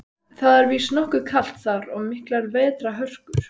Það er víst nokkuð kalt þar og miklar vetrarhörkur.